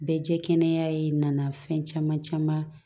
Bɛɛ jɛ kɛnɛ ye nana fɛn caman caman